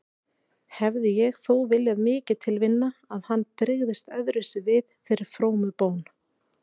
Hefði ég þó viljað mikið til vinna að hann brygðist öðruvísi við þeirri frómu bón.